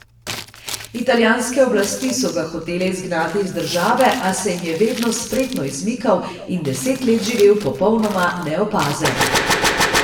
Italijanske oblasti so ga hotele izgnati iz države, a se jim je vedno spretno izmikal in deset let živel popolnoma neopazen.